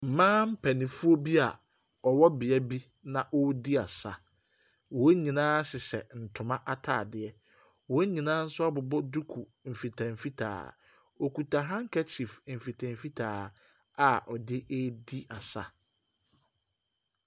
Mmaa mpanimfoɔ bi a wɔwɔ bea bi na wɔredi asa. Wɔn nyinaa hyehyɛ ntoma atadeɛ. Wɔn nyinaa nso abobɔ dukuduku mfitamfitaa. Wɔkuta handkerchief mfitamfitaa a wɔde redi asa.